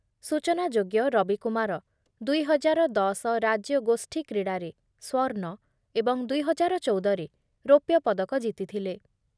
ସୂଚନାଯୋଗ୍ୟ ରବିକୁମାର ଦୁଇ ହଜାର ଦଶ ରାଜ୍ୟଗୋଷ୍ଠୀ କ୍ରୀଡ଼ାରେ ସ୍ୱର୍ଣ୍ଣ ଏବଂ ଦୁଇ ହାଜାର ଚଉଦ ରେ ରୌପ୍ୟ ପଦକ ଜିତିଥିଲେ ।